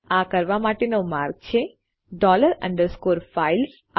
આ કરવા માટેનો માર્ગ છે ડોલર અંડરસ્કોર ફાઇલ્સ